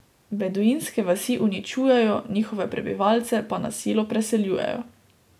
Beduinske vasi uničujejo, njihove prebivalce pa na silo preseljujejo.